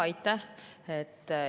Aitäh!